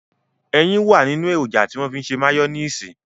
Ẹyin wà nínú èròjà tí wọ́n fi ń ṣe máyóníìsì